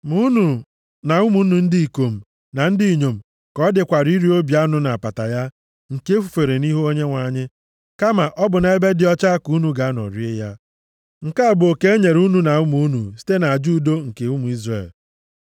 Ma unu na ụmụ unu ndị ikom na ndị inyom ka ọ dịkwara iri obi anụ na apata ya, nke e fufere nʼihu Onyenwe anyị. Kama, ọ bụ nʼebe dị ọcha ka unu ga-anọ rie ya. Nke a bụ oke enyere unu na ụmụ unu site nʼaja udo nke ụmụ Izrel.